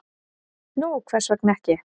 """Nú, hvers vegna ekki?"""